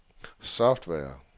software